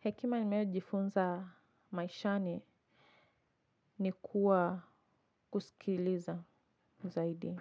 Hekima ninayojifunza maishani ni kuwa kusikiliza zaidi.